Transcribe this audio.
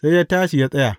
Sai ya tashi ya tsaya.